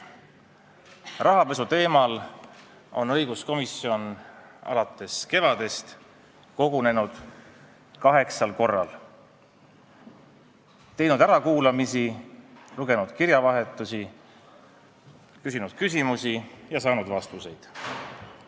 Rahapesuteema arutamiseks on õiguskomisjon alates kevadest kogunenud kaheksal korral, teinud ärakuulamisi, lugenud kirjavahetust, küsinud küsimusi ja saanud vastuseid.